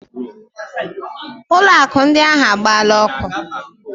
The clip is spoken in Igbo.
Ụlọ akụ ndị ahịa ahụ agbaala ọkụ.